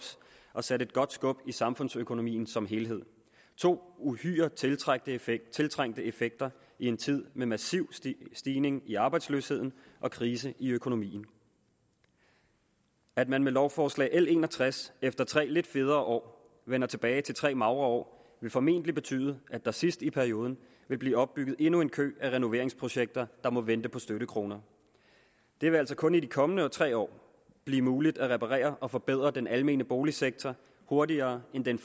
og sat et godt skub i samfundsøkonomien som helhed to uhyre tiltrængte effekter tiltrængte effekter i en tid med massiv stigning stigning i arbejdsløsheden og krise i økonomien at man med lovforslag nummer l en og tres efter tre lidt federe år vender tilbage til tre magre år vil formentlig betyde at der sidst i perioden vil blive opbygget endnu en kø af renoveringsprojekter der må vente på støttekroner det vil altså kun i de kommende tre år blive muligt at reparere og forbedre den almene boligsektor hurtigere end den